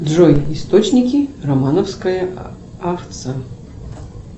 джой источники романовская овца